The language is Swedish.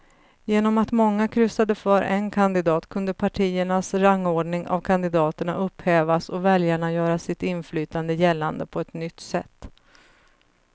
Genom att många kryssade för en kandidat kunde partiernas rangordning av kandidaterna upphävas och väljarna göra sitt inflytande gällande på ett nytt sätt.